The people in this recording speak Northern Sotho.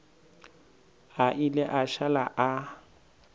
a ile a šala a